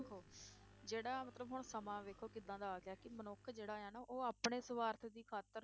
ਦੇਖੋ ਜਿਹੜਾ ਮਤਲਬ ਹੁਣ ਸਮਾਂ ਵੇਖੋ ਕਿੱਦਾਂ ਦਾ ਆ ਗਿਆ ਕਿ ਮਨੁੱਖ ਜਿਹੜਾ ਆ ਨਾ ਉਹ ਆਪਣੇ ਸਵਾਰਥ ਦੀ ਖ਼ਾਤਿਰ